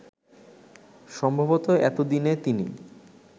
সম্ভবত এতদিনে তিনি